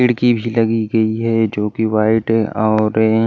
खिड़की भी लगी गई है जो कि व्हाइट है ऑरेंज --